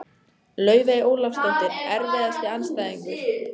Laufey Ólafsdóttir Erfiðasti andstæðingur?